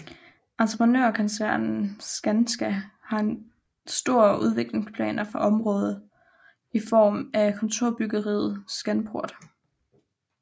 Entreprenørkoncernen Skanska har store udviklingsplaner for området i form af kontorbyggeriet Scanport